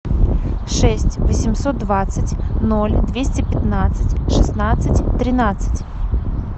шесть восемьсот двадцать ноль двести пятнадцать шестнадцать тринадцать